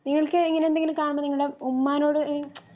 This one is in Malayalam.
നിങ്ങൾക്ക് ഇങ്ങനെന്തെങ്കിലും കാണുമ്പോ ഉമ്മാനോട് എ മുച്ചും